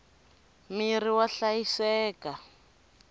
mirhi wa hlayiseka